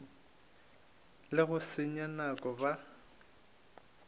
le go senya nako ba